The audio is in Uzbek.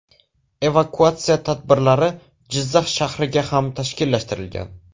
Evakuatsiya tadbirlari Jizzax shahriga ham tashkillashtirilgan.